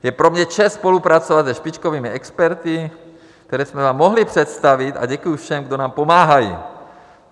Je pro mě čest spolupracovat se špičkovými experty, které jsme vám mohli představit, a děkuji všem, kdo nám pomáhají.